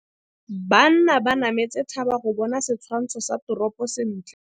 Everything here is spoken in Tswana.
Banna ba nametse thaba go bona setshwantsho sa toropô sentle.